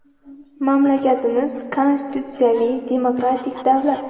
Mamlakatimiz konstitutsiyaviy, demokratik davlat.